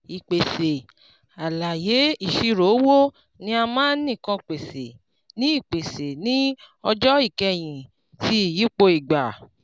ìpèsè àlàyé ìṣirò owó ni a máa ń nìkàn pèsè ní pèsè ní ọjọ́ ìkẹyìn ti ìyípo ígbà